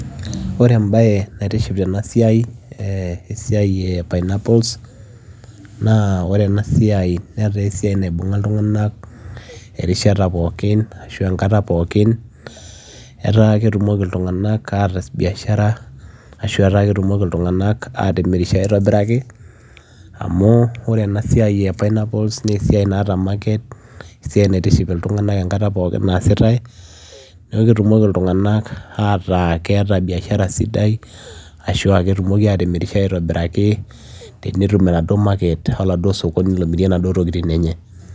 ore embaye naitiship tena siai eh esiai e pineapples naa ore ena siai netaa esiai naibung'a iltung'anak erishata pookin ashu enkata pookin etaa ketumoki iltung'anak ataas biashara ashu etaa ketumoki iltung'anak atimirisho aitobiraki amu ore ena siai e pineapples naa esiai naata market esiai naitiship iltung'anak enkata pookin naasitae neku ketumoki iltung'anak ataa keeta biashara sidai ashua ketumoki atimirisho aitobiraki tenetum enaduo market oladuo sokoni lomirie inaduo tokitin enye.